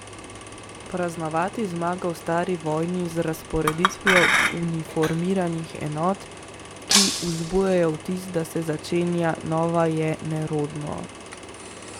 Praznovati zmago v stari vojni z razporeditvijo uniformiranih enot, ki vzbujajo vtis, da se začenja nova, je nerodno.